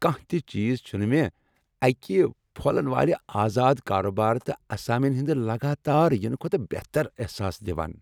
کانٛہہ تہ چیز چھنہٕ مےٚ اکہ پھۄلن والہ آزاد کارٕبار تہٕ اسامین ہٕنٛد لگاتار ینہٕ کھۄتہٕ بہتر احساس دوان۔